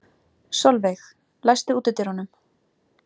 Solveig, læstu útidyrunum.